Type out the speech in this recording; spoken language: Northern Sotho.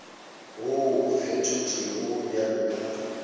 wo o fetotšwego bjalo ka